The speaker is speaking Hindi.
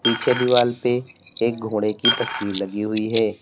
पीछे दीवाल पे एक घोड़े की तस्वीर लगी हुई है।